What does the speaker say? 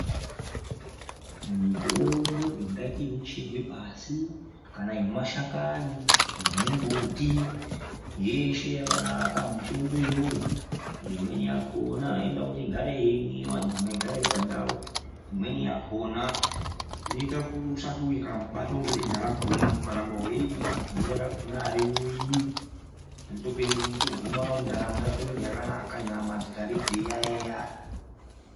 Mitombo ingaite inocherwe pashi; kana yemashakani; yemumbuti, yeshe yakanaka mutombo iyoyo. Imweni yakhona inoda kuti igare yeimwiwa nyama igare iri pandau, imweni yakhona inoita kuti usati ukambobatwa ngedenda rakhona ukaramba weiimwa denda rakhona ariuyi. Unotoguma ndaramo yako inenge yakanaka nyama dzigare dzeiyaeya.